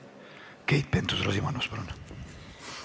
Keit Pentus-Rosimannus, palun!